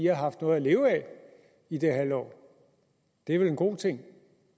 har haft noget at leve af i det halve år det er vel en god ting